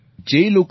જે લોકોએ ડો